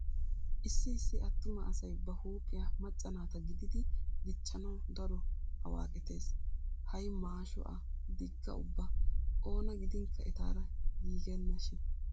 Issi issi attuma asay ba huuphiya macca naata gididi dichchanawu daro awaaqetees. Hay maasho a diga ubba oona ginkka etaara giigennashin.